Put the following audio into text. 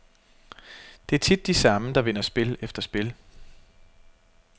Det er tit de samme, der vinder spil efter spil.